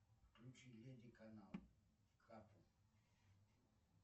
включи леди канал катл